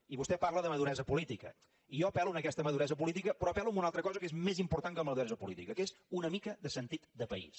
i vostè parla de maduresa política i jo apel·lo a aquesta maduresa política però apel·lo a una altra cosa que és més important que la maduresa política que és una mica de sentit de país